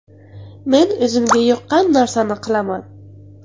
Men o‘zimga yoqqan narsani qilaman.